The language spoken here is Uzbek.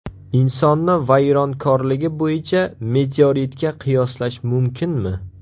Insonni vayronkorligi bo‘yicha meteoritga qiyoslash mumkinmi?